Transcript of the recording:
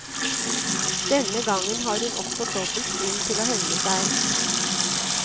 Denne gang har hun også dobbelt grunn til å hevne seg.